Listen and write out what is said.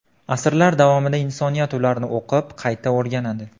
Asrlar davomida insoniyat ularni o‘qib, qayta o‘rganadi.